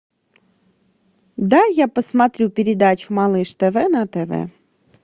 дай я посмотрю передачу малыш тв на тв